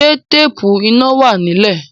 Ṣé téèpù iná wà nílé?